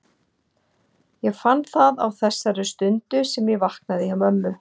Ég fann það á þessari stundu sem ég vaknaði hjá mömmu.